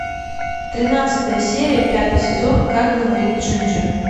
тринадцатая серия пятый сезон как говорит джинджер